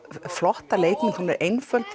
flotta leikmynd hún er einföld